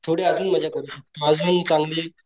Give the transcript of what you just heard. थोडी आजून मज्जा करू शकतो आजून चांगली,